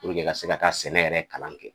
i ka se ka taa sɛnɛ yɛrɛ kalan kɛ